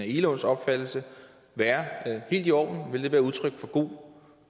egelunds opfattelse være helt i orden vil det være udtryk for god